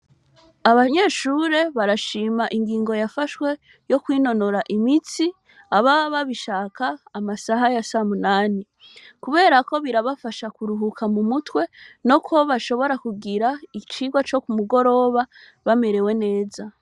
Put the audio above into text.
Abanyeshure barashim' ingingo yafashwe yo kwinonora imitsi, ababa babishak' amasaha ya sa munani, kubera ko birafasha kuruhuka mu mutwe, no kuba bashobora kugir' icigwa co kumugoroba bamerewe neza.